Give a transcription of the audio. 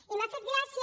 i m’ha fet gràcia